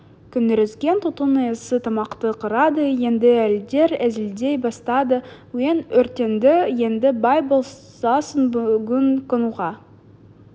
көңірсіген түтін иісі тамақты қырады енді әйелдер әзілдей бастады үйің өртенді енді бай боласың бүгін қонуға